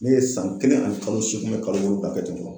Ne ye san kelen ani kalo seegin kalo wolonwula kɛ ten tɔ.